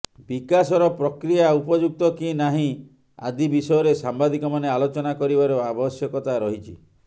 ବିକାଶର ପ୍ରକ୍ରିୟା ଉପଯୁକ୍ତ କି ନାହିଁ ଆଦି ବିଷୟରେ ସାମ୍ବାଦିକମାନେ ଆଲୋଚନା କରିବାର ଆବଶ୍ୟକତା ରହିଛି